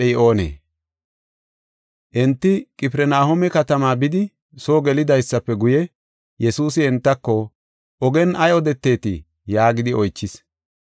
Enti Qifirnahooma katamaa bidi soo gelidaysafe guye, Yesuusi entako, “Ogen ay odeteetii?” yaagidi oychis.